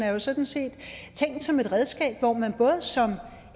jo sådan set tænkt som et redskab så man både som